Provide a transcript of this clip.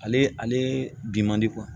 Ale ale bi man di